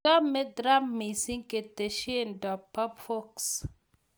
Chame Trump missing ketesyento bo Fox